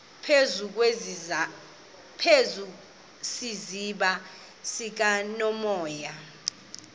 phezu kwesiziba sikanophoyi